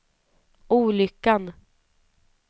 olyckan